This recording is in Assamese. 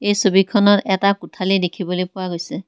এই ছবিখনত এটা কোঠালি দেখিবলৈ পোৱা গৈছে।